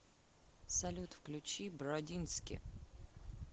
салют включи бродински